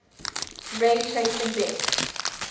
ray tracing best